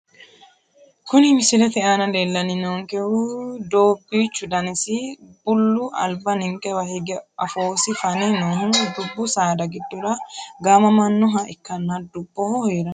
Kuni misilete aana leelani noonkehu doobichu danasi billu alba ninkewa hige afoosi fane noohu dubbu saada gidora gaamamanoha ikanna duboho heerano.